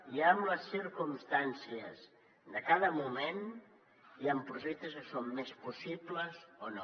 i amb les circumstàncies de cada moment i amb projectes que són més possibles o no